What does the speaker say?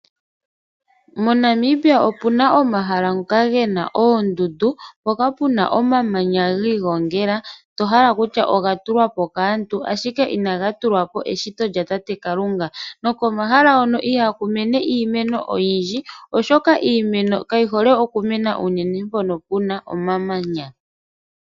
MoNamibia omu na omahala ngoka ge na oondundu mpoka pe na omamanya giigongela to hala kutya oga tulwa po kaantu, ashike inaga tulwa po eshito lyatate Kalunga. Komahala hono ihaku mene iimeno oyindji oshoka iimeno kayi hole unene okumena pehala pe na omamanya.